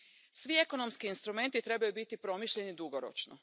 Svi ekonomski instrumenti trebaju biti promišljeni dugoročno.